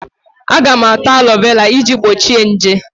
Aga m ata alọvera iji gbochie nje.